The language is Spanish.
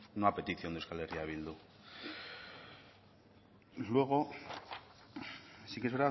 no a petición de euskal herri bildu y luego sí que es